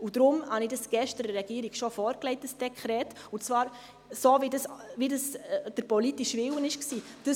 Deshalb habe ich das Dekret schon gestern der Regierung vorgelegt, und zwar so, wie der politische Wille war: